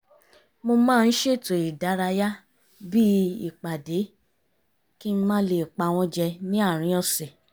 mo maá ń ṣètò ìdárayá bí i ìpàdé kí n má lè pa wọ́n jẹ ní àárín ọ̀sẹ̀